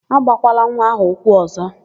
Agbakwala nwa áhụ̀ ụkwụ ọ̀zọ́!